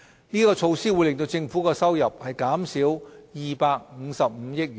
這措施會令政府的收入減少255億元。